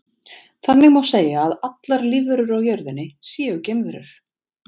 Þannig má segja að allar lífverur á jörðinni séu geimverur.